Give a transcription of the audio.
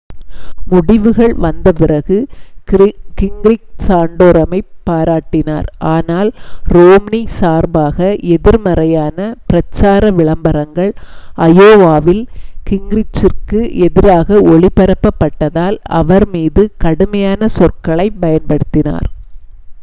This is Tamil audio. முடிவுகள் வந்த பிறகு கிங்ரிச் சாண்டோரமைப் பாராட்டினார் ஆனால் ரோம்னி சார்பாக எதிர்மறையான பிரச்சார விளம்பரங்கள் அயோவாவில் கிங்ரிச்சிற்கு எதிராக ஒளிபரப்பப்பட்டதால் அவர் மீது கடுமையான சொற்களைப் பயன்படுத்தினார்